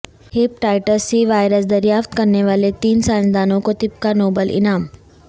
hepatitis C virus دریافت کرنے والے تین سائنسدانوں کو طب کا نوبل انعام